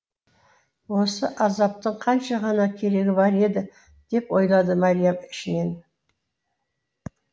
осы азаптың қанша ғана керегі бар еді деп ойлады мәриям ішінен